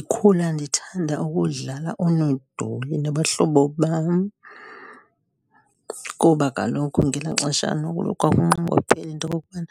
Ndikhula ndithanda ukudlala oonodoli nabahlobo bam. Kuba kaloku ngelaa xesha noko kwakunqongophele into okokubana